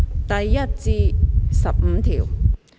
第1至15條。